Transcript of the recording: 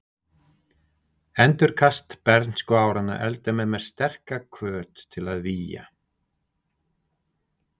Endurkast bernskuáranna efldi með mér sterka hvöt til að vígja